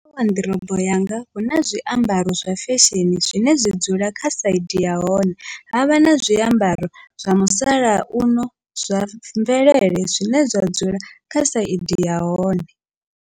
Kha waḓirobo yanga huna zwiambaro zwa fesheni zwine zwa dzula kha saidi yahone, havha na zwiambaro zwa musalauno zwa mvelele zwine zwa dzula kha saidi yahone.